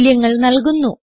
മൂല്യങ്ങൾ നല്കുന്നു